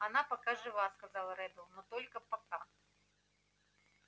она пока жива сказал реддл но только пока